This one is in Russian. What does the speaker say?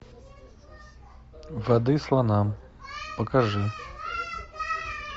воды слонам покажи